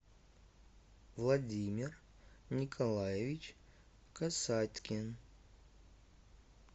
владимир николаевич касаткин